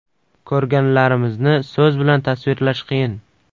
Ko‘rganlarimizni so‘z bilan tasvirlash qiyin.